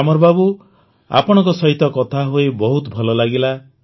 ଗ୍ୟାମର୍ ବାବୁ ଆପଣଙ୍କ ସହିତ କଥା ହୋଇ ବହୁତ ଭଲ ଲାଗିଲା